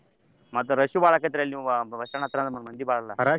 ಮತ್ತ rush ಬಾಳ್ ಆಕಾತ್ರಲ್ ನಿಮ್ಗ bus stand ಹತ್ರ ಮ್~ ಮಂದಿ ಬಾಳ್ ಅಲ್ಲ.